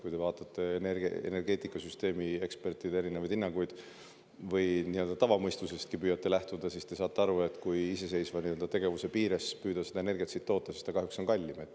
Kui te vaatate energeetikasüsteemi ekspertide erinevaid hinnanguid või nii-öelda tavamõistusestki püüate lähtuda, siis te saate aru, et kui iseseisva tegevuse piires püüda siin energiat toota, siis see on kahjuks kallim.